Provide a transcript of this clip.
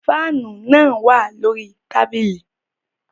Faanu naa wa lori tabili